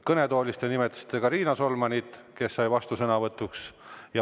Kõnetoolist te nimetasite ka Riina Solmanit, kes sai vastusõnavõtu.